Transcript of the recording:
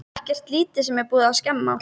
Ekkert lítið sem er búið að skemma!